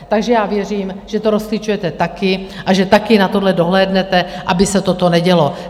Takže já věřím, že to rozklíčujete taky a že taky na tohle dohlédnete, aby se toto nedělo.